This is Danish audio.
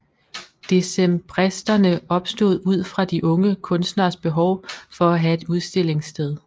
Decembristerne opstod ud fra de unge kunstneres behov for at have et udstillingssted